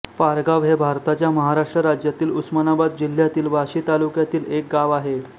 पारगाव हे भारताच्या महाराष्ट्र राज्यातील उस्मानाबाद जिल्ह्यातील वाशी तालुक्यातील एक गाव आहे